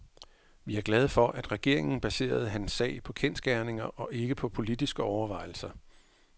Vi er glade for, at regeringen baserede hans sag på kendsgerninger og ikke på politiske overvejelser.